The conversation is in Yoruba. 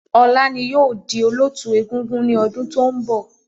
Ọlá ni yìí ó di Olóótù egúngún ni ọdún to ń bọ̀